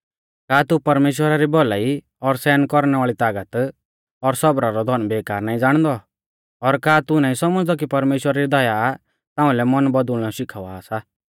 का तू परमेश्‍वरा री भौलाई और सहन कौरणै वाल़ी तागत और सौबरा रौ धन बेकार नाईं ज़ाणदौ और का तू नाईं सौमझ़दौ कि परमेश्‍वरा री दया ताऊंल़ै मन बदुल़नौ शिखावा सा